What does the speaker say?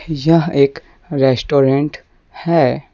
यह एक रेस्टोरेंट हैं।